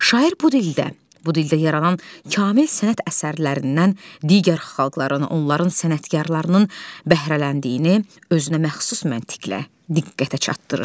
Şair bu dildə, bu dildə yaranan kamil sənət əsərlərindən digər xalqların, onların sənətkarlarının bəhrələndiyini özünəməxsus məntiqlə diqqətə çatdırır.